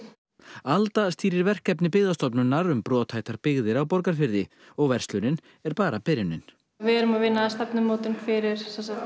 alda stýrir verkefni Byggðastofnunar um brothættar byggðir á Borgarfirði og verslunin er bara byrjunin við erum að vinna stefnumótun fyrir